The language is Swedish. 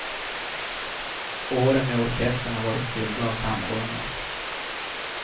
Åren med orkestern har varit fyllda av framgångar.